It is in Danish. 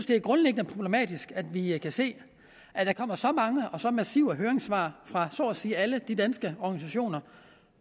det er grundlæggende problematisk at vi kan se at der kommer så mange og så massive høringssvar fra så at sige alle de danske organisationer